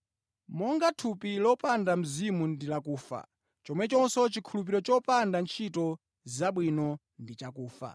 Monga thupi lopanda mzimu ndi lakufa, chomwechonso chikhulupiriro chopanda ntchito zabwino ndi chakufa.